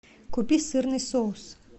купи сырный соус